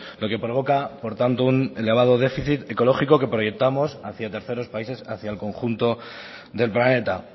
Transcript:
lo que provoca por tanto un elevado déficit ecológico que proyectamos hacía terceros países hacia el conjunto del planeta